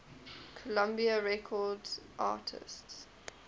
columbia records artists